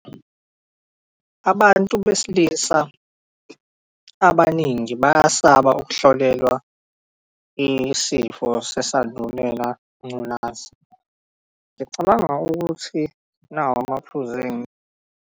Abantu besilisa abaningi nje bayasaba ukuhlolelwa isifo sesandulela, ingculaza. Ngiyacabanga ukuthi nawa amaphuzu .